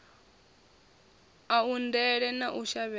a undele na u shavhedza